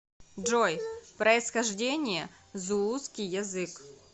джой происхождение зулусский язык